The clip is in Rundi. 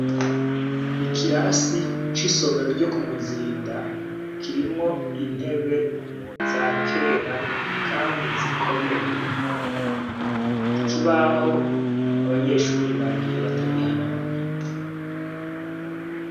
Nikirasi cisomero ryo kumuzinda kirimwo intebe za kera kandi zikomeye. Ikibaho abanyeshure bagiye batagihanaguye.